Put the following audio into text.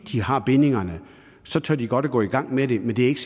har bindingerne tør de godt gå i gang med det men det er ikke